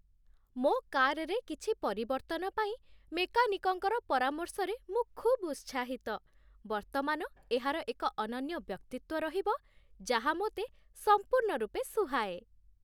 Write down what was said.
ମୋ କାର୍‌ରେ କିଛି ପରିବର୍ତ୍ତନ ପାଇଁ ମେକାନିକ୍‌ଙ୍କର ପରାମର୍ଶରେ ମୁଁ ଖୁବ୍ ଉତ୍ସାହିତ। ବର୍ତ୍ତମାନ ଏହାର ଏକ ଅନନ୍ୟ ବ୍ୟକ୍ତିତ୍ୱ ରହିବ, ଯାହା ମୋତେ ସମ୍ପୂର୍ଣ୍ଣ ରୂପେ ସୁହାଏ